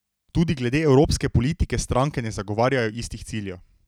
Tudi glede evropske politike stranke ne zagovarjajo istih ciljev.